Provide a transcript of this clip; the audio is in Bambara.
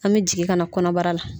An bɛ jigin ka na kɔnɔbara la.